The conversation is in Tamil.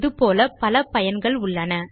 இது போல பல பயன்கள் உள்ளன